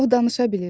O danışa bilirmiş.